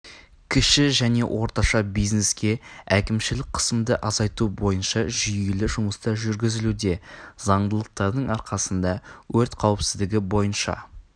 кіші және орташа бизнеске әкімшілік қысымды азайту бойынша жүйелі жұмыстар жүргізілуде заңдылықтардың арқасында өрт қауіпсіздігі бойынша